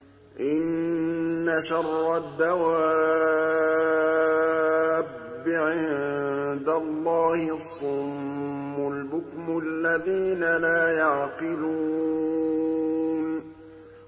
۞ إِنَّ شَرَّ الدَّوَابِّ عِندَ اللَّهِ الصُّمُّ الْبُكْمُ الَّذِينَ لَا يَعْقِلُونَ